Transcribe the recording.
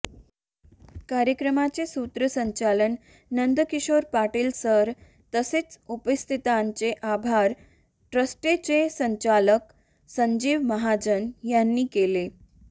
कार्यक्रमाचे सूत्रसंचालन नंदकिशोर पाटील सर तसेच उपस्थितांचे आभार ट्रस्टचे संचालक संजीव महाजन यांनी केले